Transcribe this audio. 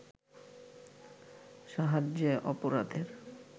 সাহায্যে অপরাধের